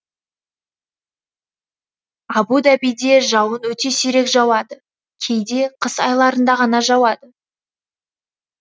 абу дабиде жауын өте сирек жауады кейде қыс айларында ғана жауады